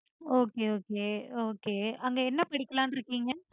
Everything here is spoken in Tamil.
okay okay okay. அங்க என்ன படிக்கலாம்னு இருக்கீங்க?